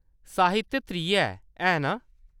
साहित्य त्री ऐ, ऐ ना?